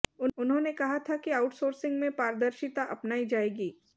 उन्होंने कहा था कि आउट सोर्सिंग में पारदर्शिता अपनाई जाएगी